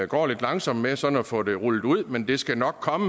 går lidt langsomt med sådan at få det rullet ud men det skal nok komme